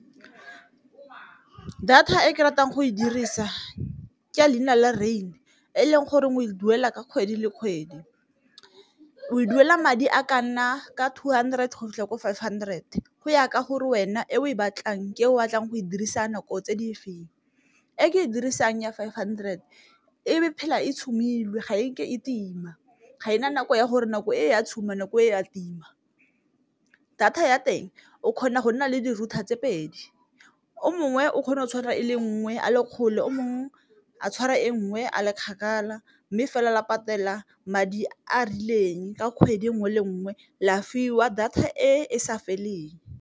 Data e ke e ratang go e dirisa ke a leina le rain e leng goreng o e duela ka kgwedi le kgwedi, o e duela madi a ka nna ka two hundred go fitlha ko five hundred go ya ka gore wena e o e batlang ke ko o batlang go e dirisa nako tse di feng. E ke e dirisang ya five hundred e phela e tshubilwe ga e ke e tima ga ena nako ya gore nako e ya tshuba nako e a tima, data ya teng o kgona go nna le di-router tse pedi o mongwe o kgona go tshwara e le nngwe a le kgole o mongwe a tshwara e nngwe a le kgakala, mme fela la patela madi a a rileng ka kgwedi nngwe le nngwe la fiwa data e e sa feleng.